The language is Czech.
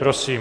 Prosím.